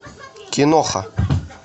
киноха